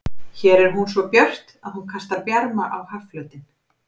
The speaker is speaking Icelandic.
Hér er hún svo björt að hún kastar bjarma á hafflötinn.